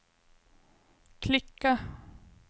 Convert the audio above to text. klicka